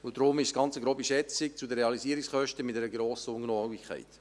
Deshalb ist es eine grobe Schätzung zu den Realisierungskosten mit einer grossen Ungenauigkeit.